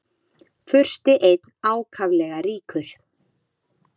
Fursti einn ákaflega ríkur.